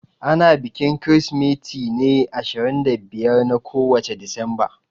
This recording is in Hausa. Ana bikin Kirsimeti ne ashirin da biyar na kowace Disamba.